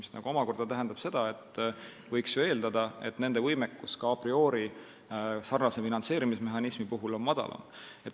See omakorda tähendab, et eeldatavalt on nende võimekus ka a priori sarnase finantseerimismehhanismi korral madalam.